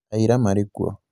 aira marĩ kuo